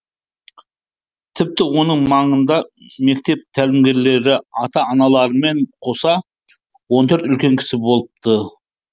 тіпті оның маңында мектеп тәлімгерлері ата аналармен қоса он төрт үлкен кісі болыпты